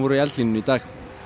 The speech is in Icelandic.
í eldlínunni í dag